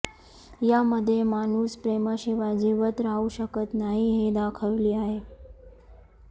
यामध्ये माणूस प्रेमाशिवाय जिवंत राहू शकत नाही हे दाखविले आहे